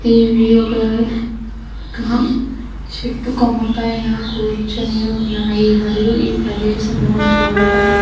ఇవి ఒక కా చెట్టు కొమ్మ పైన కూర్చొని ఉన్నాయి. మరియు ఈ ప్రదేశము చూడడానికి --